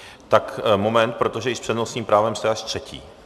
Tak moment, protože i s přednostním právem jste až třetí.